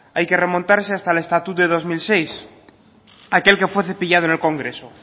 hay que remontarse hasta el estatut de dos mil seis aquel que fue cepillado en el congreso